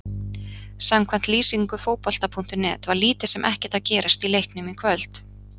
Samkvæmt lýsingu Fótbolta.net var lítið sem ekkert að gerast í leiknum í kvöld.